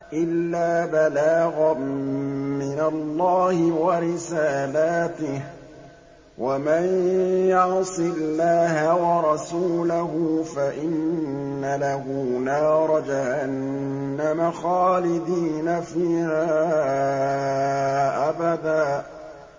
إِلَّا بَلَاغًا مِّنَ اللَّهِ وَرِسَالَاتِهِ ۚ وَمَن يَعْصِ اللَّهَ وَرَسُولَهُ فَإِنَّ لَهُ نَارَ جَهَنَّمَ خَالِدِينَ فِيهَا أَبَدًا